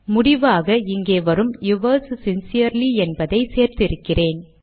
முடிவாக இங்கே வரும் யுவர்ஸ் சின்சியர்லி என்பதை சேர்த்திருக்கிறேன்